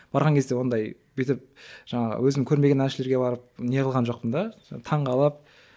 барған кезде ондай бүйтіп жаңағы өзім көрмеген әншілерге барып не қылған жоқпын да таңғалып